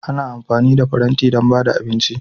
Ana amfani da faranti don ba da abinci